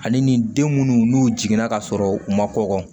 Ani nin den munnu n'u jiginna ka sɔrɔ u ma kɔkɔ